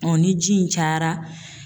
ni ji in cayara